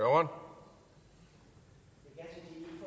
om det